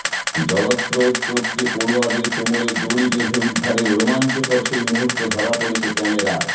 জলস্রোত টপকে পড়ুয়াদের কোমরে দড়ি বেঁধে উদ্ধারের রোমাঞ্চকর সেই মুহূর্ত ধরা পড়েছে ক্যামেরায়